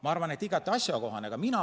Ma arvan, et see on igati asjakohane.